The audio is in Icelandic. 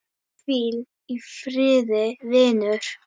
Hvíl í friði vinur.